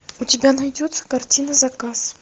у тебя найдется картина заказ